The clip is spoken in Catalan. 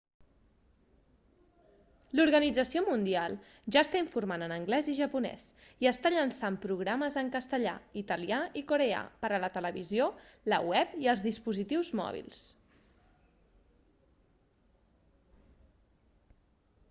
l'organització mundial ja està informant en anglès i japonès i està llançant programes en castellà italià i coreà per a la televisió la web i els dispositius mòbils